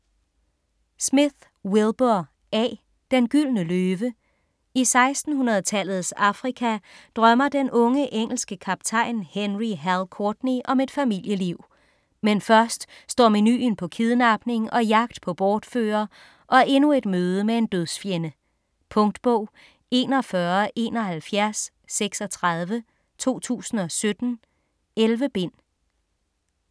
Smith, Wilbur A.: Den gyldne løve I 1600-tallets Afrika drømmer den unge engelske kaptajn Henry "Hal" Courtney om et familieliv. Men først står menuen på kidnapning og jagt på bortfører, og endnu et møde med en dødsfjende. Punktbog 417136 2017. 11 bind.